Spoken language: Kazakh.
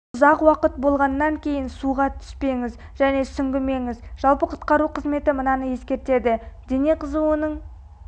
ұзақ уақыт болғаннан кейін суға түспеңіз және сүңгімеңіз жалпы құтқару қызметі мынаны ескертеді дене қызуының